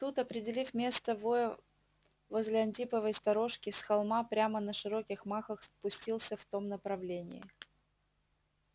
тут определив место воя возле антиповой сторожки с холма прямо на широких махах пустился в том направлении